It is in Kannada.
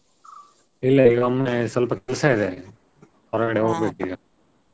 ಇಲ್ಲ ಈಗ ಒಮ್ಮೆ ಸ್ವಲ್ಪ ಕೆಲ್ಸ ಇದೆ, ಹೊರ್ಗಡೆ ಈಗ.